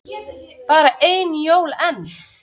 Bara ein jól enn.